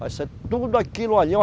Vai ser tudo aquilo ali.